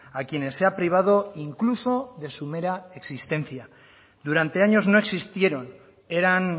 a quienes se ha privado incluso de su mera existencia durante años no existieron eran